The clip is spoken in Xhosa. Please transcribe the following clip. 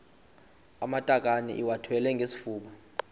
amatakane iwathwale ngesifuba